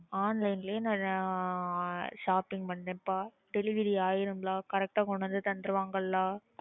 Online லயே நான் ஆஹ் shopping பண்றேன்பா. delivery ஆயிரும்ல correct ஆ கொண்டு வந்து தந்துருவாங்கள?